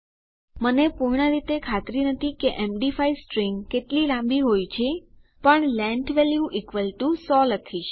મને પૂર્ણરીતે ખાતરી નથી કે એમડી5 સ્ટ્રીંગ કેટલી લાંબી હોય છે પણ લેંગ્થ વેલ્યુ 100 લખીશ